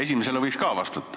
Esimesele võiks ka vastata.